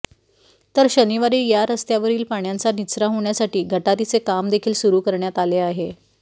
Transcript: तर शनिवारी या रस्त्यावरील पाण्याचा निचरा होण्यासाठी गटारीचे काम देखील सुरु करण्यात आले आहे